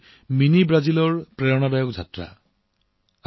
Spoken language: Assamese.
এইটোৱেই হৈছে মিনি ব্ৰাজিলৰ প্ৰেৰণাদায়ক যাত্ৰা